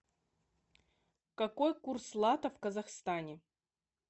какой курс лата в казахстане